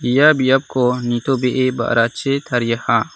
ia biapko nitobee ba·rachi tariaha.